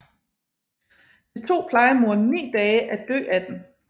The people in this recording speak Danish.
Det tog plejemoren ni dage at dø af den